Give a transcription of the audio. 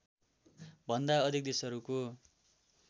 भन्दा अधिक देशहरूको